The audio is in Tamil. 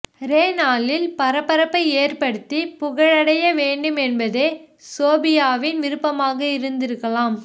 ரே நாளில் பரபரப்பை ஏற்படுத்தி புகழடைய வேண்டும் என்பதே சோபியாவின் விருப்பமாக இருந்திருக்கலாம்